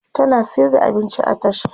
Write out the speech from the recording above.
tana sayar da abinci a tasha